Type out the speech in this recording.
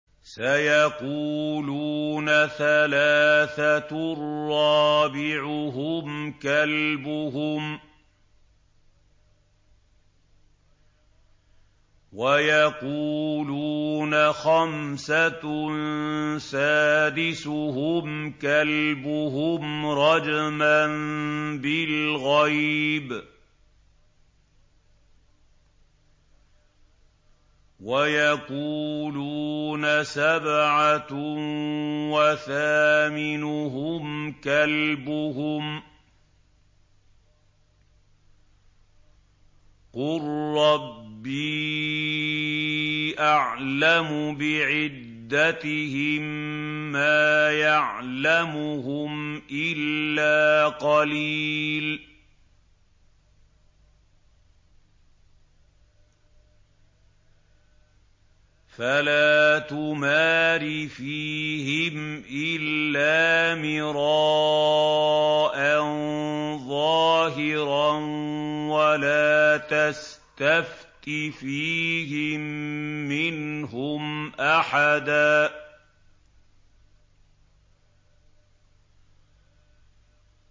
سَيَقُولُونَ ثَلَاثَةٌ رَّابِعُهُمْ كَلْبُهُمْ وَيَقُولُونَ خَمْسَةٌ سَادِسُهُمْ كَلْبُهُمْ رَجْمًا بِالْغَيْبِ ۖ وَيَقُولُونَ سَبْعَةٌ وَثَامِنُهُمْ كَلْبُهُمْ ۚ قُل رَّبِّي أَعْلَمُ بِعِدَّتِهِم مَّا يَعْلَمُهُمْ إِلَّا قَلِيلٌ ۗ فَلَا تُمَارِ فِيهِمْ إِلَّا مِرَاءً ظَاهِرًا وَلَا تَسْتَفْتِ فِيهِم مِّنْهُمْ أَحَدًا